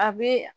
A bɛ